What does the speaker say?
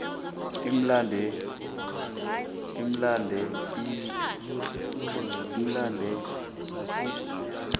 ilwandle likhulu eilipheleli